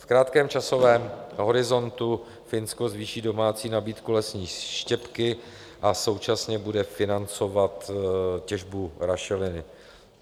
V krátkém časovém horizontu Finsko zvýší domácí nabídku lesní štěpky a současně bude financovat těžbu rašeliny.